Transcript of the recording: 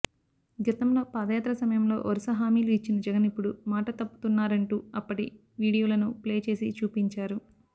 గతంలో పాదయాత్ర సమయంలో వరుస హామీలు ఇచ్చిన జగన్ ఇప్పుడు మాట తప్పుతున్నారంటూ అప్పటి వీడియోలను ప్లే చేసి చూపించారు